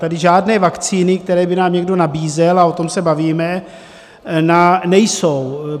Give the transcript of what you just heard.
Tady žádné vakcíny, které by nám někdo nabízel, a o tom se bavíme, nejsou.